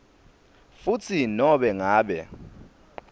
futsi nobe ngabe